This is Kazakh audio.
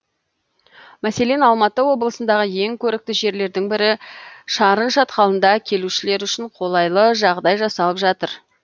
мәселен алматы облысындағы ең көрікті жерлердің бірі шарын шатқалында келушілер үшін қолайлы жағдай жасалып жатыр